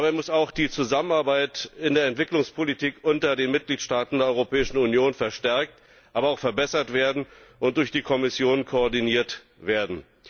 Dabei muss auch die Zusammenarbeit in der Entwicklungspolitik unter den Mitgliedstaaten der Europäischen Union verstärkt, aber auch verbessert und durch die Kommission koordiniert werden.